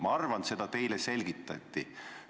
Ma arvan, et seda teile selgitati.